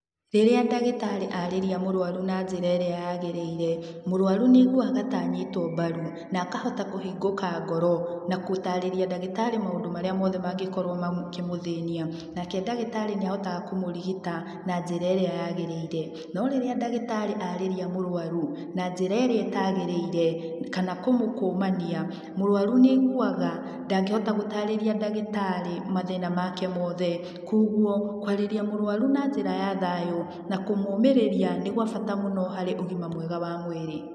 Rĩrĩa ndagĩtarĩ arĩria mũrwaru na njĩra ĩrĩa yagĩrĩire, mũrwaru nĩ aiguaga ta anyitwo mbaru, na akahota kũhingũka ngoro, na gũtarĩria ndagĩtarĩ maũndũ marĩa moothe mangĩkorwo makĩmũthĩnia, nake ndagĩtarĩ nĩ ahotaga kũmũrigita na njĩra ĩrĩa yagĩrĩire. No rĩrĩa ndagĩtarĩ arĩria mũrwaru na njĩra ĩrĩa ĩtagĩrĩire, kana kũmũkũmania mũrwaru nĩ aiguaga ndangĩhota gũtaarĩria ndagĩtarĩ mathíĩna make mothe, kwoguo kwarĩria mũrwaru na njĩra ya thayũ na kũmũmĩrĩria nĩ gwa bata mũno harĩ ũgima mwega wa mwĩrĩ.